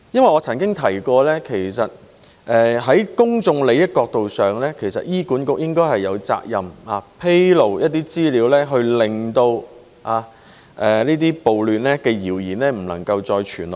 我曾提及，從公眾利益角度而言，醫管局應有責任披露部分資料，令這些暴亂的謠言不能夠再流傳下去。